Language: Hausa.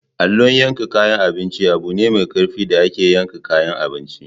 Allon yakan kayan abinci abune mai karfi da ake yankan kayan abinci.